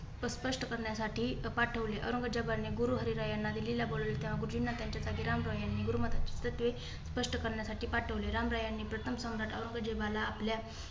स्पष्ट करण्यासाठी पाठवली. औरंगजेबाने गुरु हरिराय यांना दिल्लीला बोलावले. तेंव्हा गुरुजींना त्यांच्या जागी रामराय यांनी गुरुमताची तत्त्वे स्पष्ट करण्यासाठी पाठवले. रामराय यांनी प्रथम सम्राट औरंगजेबाला आपल्या